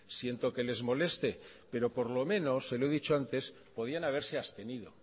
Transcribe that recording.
siento que les moleste pero por lo menos se lo he dicho antes podían haberse abstenido